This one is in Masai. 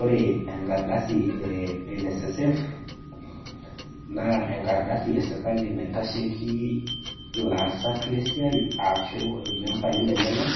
Ore enkardasi enssf naa enkardasi esirkali naitasheki laasak le siaai ashuu lmembai lenyenak